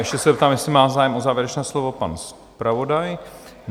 Ještě se zeptám, jestli má zájem o závěrečné slovo pan zpravodaj?